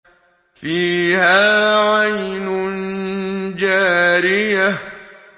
فِيهَا عَيْنٌ جَارِيَةٌ